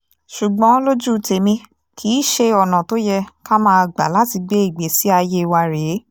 ṣùgbọ́n lójú tẹ̀mí kì í ṣe ọ̀nà tó yẹ ká máa gbà láti gbé ìgbésí ayé wa rèé